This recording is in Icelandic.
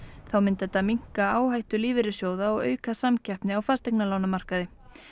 þá myndi þetta minnka áhættu lífeyrissjóða og auka samkeppni á fasteignalánamarkaði